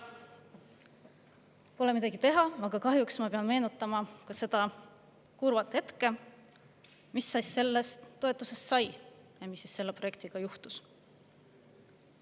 Pole midagi teha, kahjuks ma pean meenutama ka seda kurba, mis sellest toetusest sai ja mis selle projektiga juhtus.